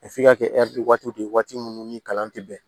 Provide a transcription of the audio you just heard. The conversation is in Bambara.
f'i ka kɛ waati de ye waati minnu ni kalan tɛ bɛn